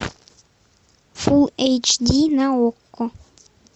фулл эйч ди на окко